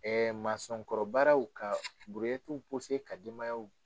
Ɛɛ mansɔnkɔrɔbaaraw ka ka denbayaw